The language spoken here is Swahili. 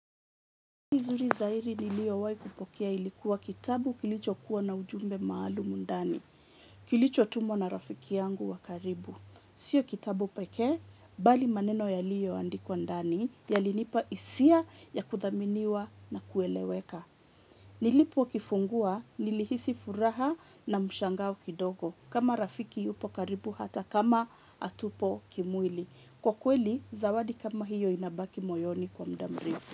Nizuri zahiri nilio wai kupokea ilikuwa kitabu kilicho kuwa na ujumbe maalum ndani. Kilicho tumwa na rafiki yangu wa karibu. Sio kitabu pekee, bali maneno yaliyo andikwa ndani, ya linipa hisia ya kuthaminiwa na kueleweka. Nilipo kifungua, nilihisi furaha na mshangao kidogo. Kama rafiki yupo karibu hata kama hatupo kimwili. Kwa kweli, zawadi kama hiyo inabaki moyoni kwa mda mrefu.